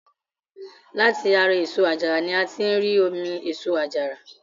Láti ara èso àjàrà ni a tí ń rí omi èso àjàrà.